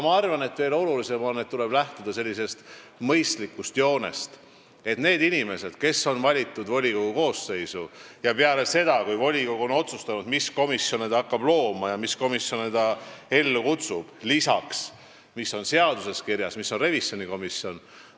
Minu arvates on aga veelgi olulisem, et tuleb lähtuda sellisest mõistlikust joonest, et need inimesed, kes on valitud volikogu koosseisu – pärast seda, kui volikogu on otsustanud, mis komisjone ta moodustab peale seaduses kirjas oleva revisjonikomisjoni –, on kutsutud komisjonide töös osalema.